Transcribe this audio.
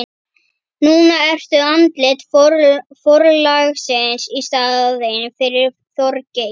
Núna ertu andlit forlagsins í staðinn fyrir Þorgeir.